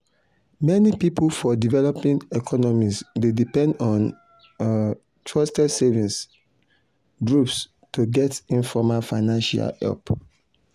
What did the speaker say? many people for developing economies dey depend on um trusted savings um groups to get informal financial help